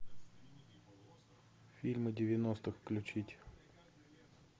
фильмы девяностых включить